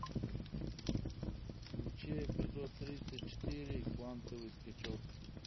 включи эпизод тридцать четыре квантовый скачок